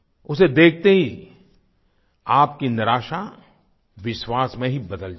उसे देखते ही आपकी निराशा विश्वास में ही बदल जाएगी